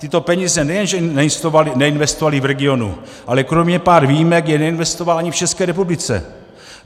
Tyto peníze nejenže neinvestoval v regionu, ale kromě pár výjimek je neinvestoval ani v České republice.